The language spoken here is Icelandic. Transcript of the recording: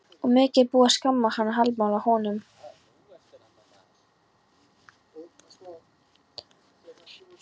Og mikið er búið að skamma hann og hallmæla honum.